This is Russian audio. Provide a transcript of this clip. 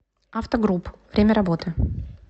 автогрупп время работы